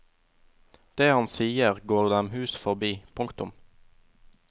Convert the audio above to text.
Det han sier går dem hus forbi. punktum